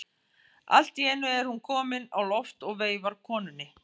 Allt í einu er hún komin á loft og veifar konunni.